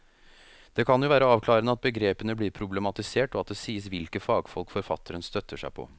Det kan jo være avklarende at begrepene blir problematisert og at det sies hvilke fagfolk forfatteren støtter seg på.